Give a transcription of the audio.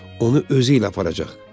Onu özü ilə aparacaq.